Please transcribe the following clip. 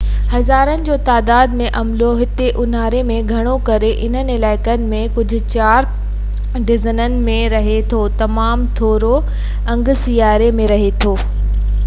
هزارن جو تعداد ۾ عملو هتي انهاري ۾ گهڻو ڪري انهن علائقن ۾ ڪجهه چار ڊزنن ۾ رهي ٿو تمام ٿورو انگ سياري ۾ رهي ٿو